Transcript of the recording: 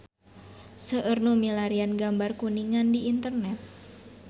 Seueur nu milarian gambar Kuningan di internet